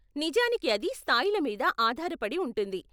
నిజానికి అది స్థాయిల మీద ఆధార పడి ఉంటుంది.